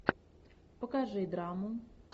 покажи драму